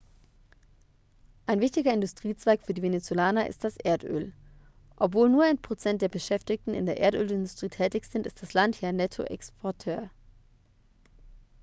ein wichtiger industriezweig für die venezolaner ist das erdöl obwohl nur ein prozent der beschäftigten in der erdölindustrie tätig ist ist das land hier ein nettoexporteur